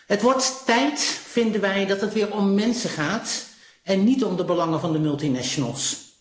Het wordt tijd, vinden wij, dat het weer om mensen gaat en niet om de belangen van de multinationals.